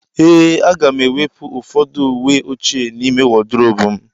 Ee,a ga m-ewepụ ụfọdụ uwe ochie n'ime wodrobu m.